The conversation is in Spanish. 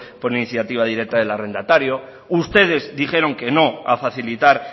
por iniciativa directa del arrendatario ustedes dijeron que no a facilitar